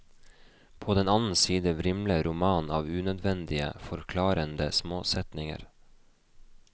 På den annen side vrimler romanen av unødvendige, forklarende småsetninger.